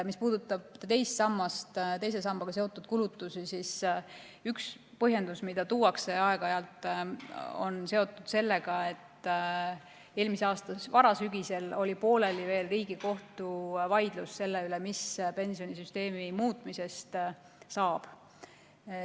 Mis puudutab teist sammast, teise sambaga seotud kulutusi, siis üks põhjendus, mida aeg-ajalt tuuakse, on seotud sellega, et eelmise aasta varasügisel oli veel pooleli Riigikohtu vaidlus selle üle, mis pensionisüsteemi muutmisest saab.